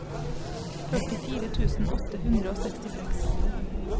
førtifire tusen åtte hundre og sekstiseks